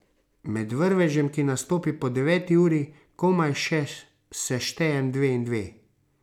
Med vrvežem, ki nastopi po deveti uri, komaj še seštejem dve in dve.